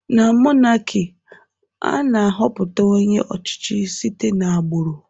Na mọnaki, ana -họpụta onye ọchichị site na-agburụ